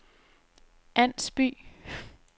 Ans By